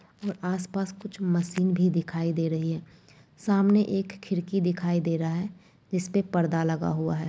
व आस- पास कुछ मशीन भी दिखाई दे रही है। सामने एक खिड़की दिखाई दे रहा है जिसपे पर्दा लगा हुआ है।